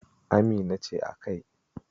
Amina ce a kai.